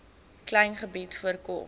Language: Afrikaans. klein gebied voorkom